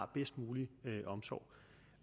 bedst mulig omsorg